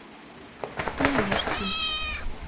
пионерский